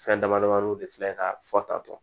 Fɛn dama damani de filɛ ka fɔ tatɔ